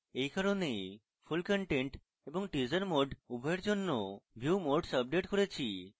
এই কারণেই full content এবং teaser mode উভয়ের জন্য view modes আপডেট করেছি